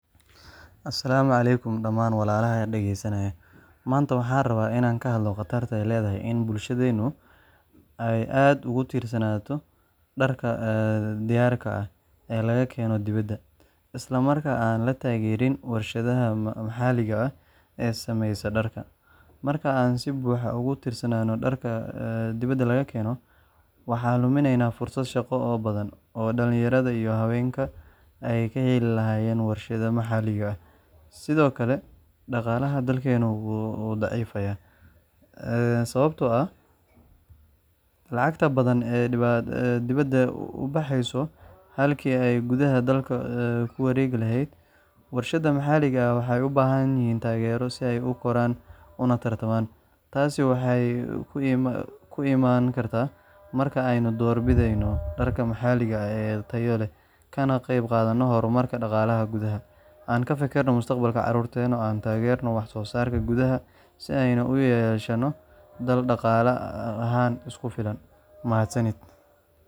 asalaamu calaykum dhamaan walaalaha dhageysanaya. Maanta waxaan rabaa inaan ka hadlo khatarta ay leedahay in bulshadeennu ay aad ugu tiirsanaato dharka diyaarka ah ee laga keeno dibadda, isla markaana aan la taageerin warshadaha maxaliga ah ee samaysa dharka. Marka aan si buuxda ugu tiirsanaano dharka dibadda laga keeno, waxaan luminaynaa fursado shaqo oo badan oo dhalinyarada iyo haweenka ay ka heli lahaayeen warshadaha maxaliga ah. Sidoo kale, dhaqaalaha dalkeennu wuu daciifayaa, sababtoo ah lacag badan ayaa dibadda u baxayso halkii ay gudaha dalku ku wareegi lahayd.